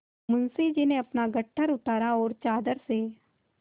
मुंशी जी ने अपना गट्ठर उतारा और चादर से